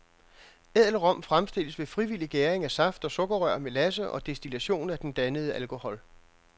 Ædel rom fremstilles ved frivillig gæring af saft af sukkerrør, melasse og destillation af den dannede alkohol.